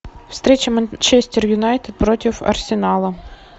встреча манчестер юнайтед против арсенала